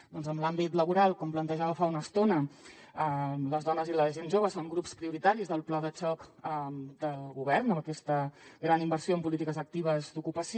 doncs en l’àmbit laboral com plantejava fa una estona les dones i la gent jove són grups prioritaris del pla de xoc del govern amb aquesta gran inversió en polítiques actives d’ocupació